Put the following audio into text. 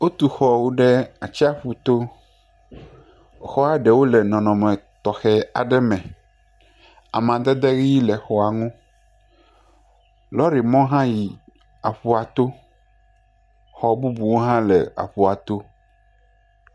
Wotu xɔwo ɖe atsiaƒu to xɔa ɖewo le nɔnɔme tɔxɛwo me amadedʋi le xɔa ŋu lɔri mɔ hã yi aƒua to xɔ bubuwo hã le aƒua to.